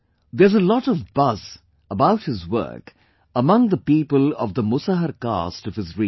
There is a lot of buzz about his work among the people of the Musahar caste of his region